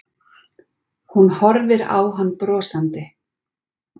Hún horfir á hann brosandi.